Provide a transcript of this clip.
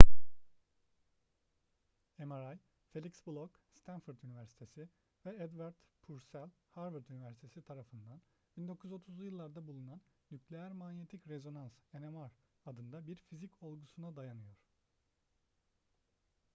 mri felix bloch stanford üniversitesi ve edward purcell harvard üniversitesi tarafından 1930'lu yıllarda bulunan nükleer manyetik rezonans nmr adında bir fizik olgusuna dayanıyor